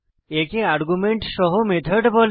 একে আর্গুমেন্ট সহ মেথড বলে